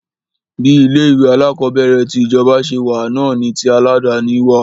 Bí ilé ìwé alákọ̀berẹ̀ ti ìjọba ṣe wà náà ni tí aládàni wà.